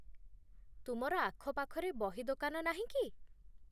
ତୁମର ଆଖପାଖରେ ବହିଦୋକାନ ନାହିଁ କି?